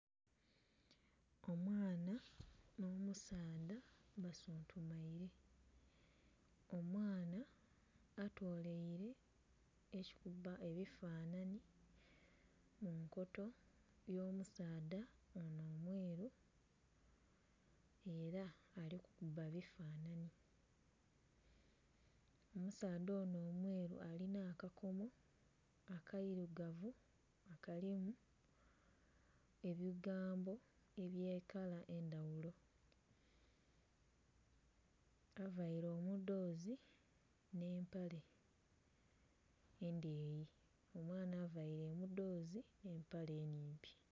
Omwana nh'omusaadha basuntumaile. Omwana atoleile ekikuba ebifanhanhi mu nkoto n'omusaadha onho omweru, ela ali kukuba bifananhi. Omusaadha onho omweru alina akakomo akailugavu nga kalimu ebigambo eby'ekala edh'endhaghulo. Availe omudhoozi nh'empale endheeyi, omwana availe omudhoozi nh'empale ennhimpi.